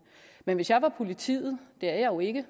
men hvis jeg var politiet det er jeg jo ikke